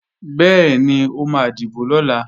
Bẹ́ẹ̀ni, ó máa dìbò lọ̀la